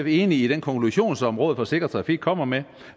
enig i den konklusion som rådet for sikker trafik kommer med